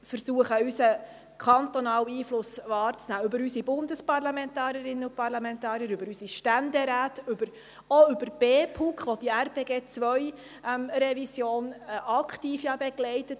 Wir können über unsere Bundesparlamentarierinnen und Bundesparlamentarier, über unsere Ständeräte und auch über die BPUK Einfluss nehmen, die diese Revision ja aktiv begleitet.